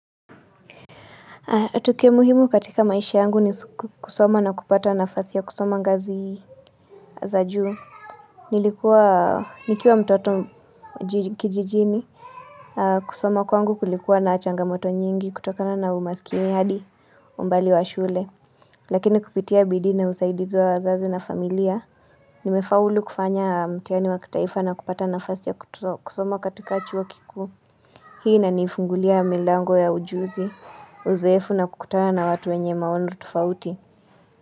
Tukio muhimu katika maisha yangu ni kusoma na kupata nafasi ya kusoma ngazi za juu. Nilikua nikiwa mtoto ji kijijini. Kusoma kwangu kulikuwa na changamoto nyingi kutokana na umaskini hadi umbali wa shule. Lakini kupitia bidii na usaidizi wa wazazi na familia. Nimefaulu kufanya mtihani wa kitaifa na kupata nafasi ya kutro kusoma katika chuo kikuu. Hii inanifungulia milango ya ujuzi. Uzoefu na kukutana na watu wenye maono tofauti.